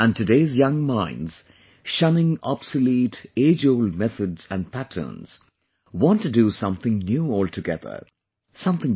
And today's young minds, shunning obsolete, age old methods and patterns, want to do something new altogether; something different